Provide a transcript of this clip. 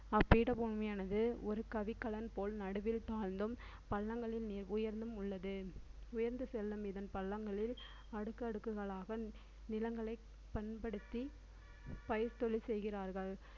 அப்பீட பூமியானது ஒரு கவிக்கலன் போல் நடுவில் தாழ்ந்தும் பள்ளங்களின் நே~ உயர்ந்தும் உள்ளது உயர்ந்து செல்லும் இதன் பள்ளங்களில் அடுக்கடுக்குகளாக நிலங்களை பண்படுத்தி பயிர் தொழில் செய்கிறார்கள்